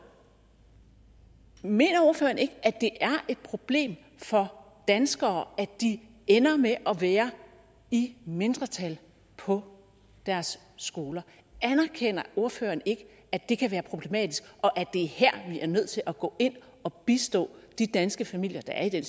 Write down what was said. mener ordføreren ikke at det er et problem for danskere at de ender med at være i mindretal på deres skoler anerkender ordføreren ikke at det kan være problematisk og at det er her vi er nødt til at gå ind og bistå de danske familier der er i